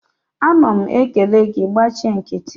a na m ekele gi, i gbachi nkiti